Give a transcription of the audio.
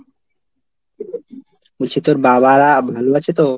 বলছি তোর বাবারা ভালো আছো তো?